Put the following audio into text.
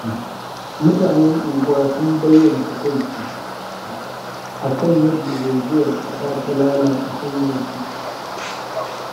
Mutanen unguwa sun bayyana takaici, akan yadda zaizayar ƙasa ta lalata hanyarsu.